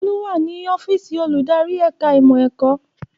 Olú wà ní ọ́fíìsì olùdarí ẹ̀ka ìmọ̀ ẹ̀kọ́